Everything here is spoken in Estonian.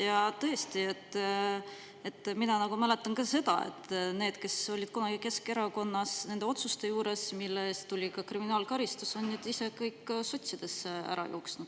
Ja tõesti, mina nagu ma mäletan ka seda, et need, kes olid kunagi Keskerakonnas nende otsuste juures, mille eest tuli ka kriminaalkaristus, on nüüd ise kõik sotsidesse ära jooksnud.